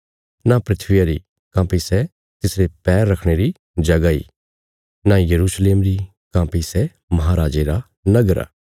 न धरतिया री काँह्भई सै तिसरे पैर रखणे री जगह इ न यरूशलेम री काँह्भई सै महांराजे रा नगर आ